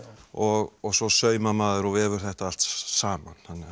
og svo saumar maður og vefur þetta allt saman